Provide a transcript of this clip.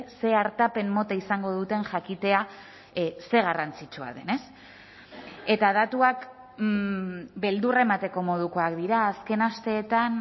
ze artapen mota izango duten jakitea zer garrantzitsua den ez eta datuak beldurra emateko modukoak dira azken asteetan